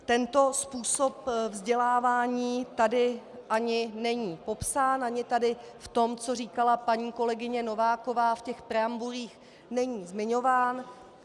Tento způsob vzdělávání tady ani není popsán, ani tady v tom, co říkala paní kolegyně Nováková, v těch preambulích, není zmiňován.